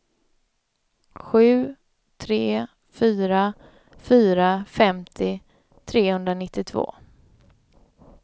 sju tre fyra fyra femtio trehundranittiotvå